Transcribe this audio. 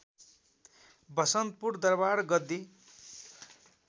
Vasantpur Durbar Gaddi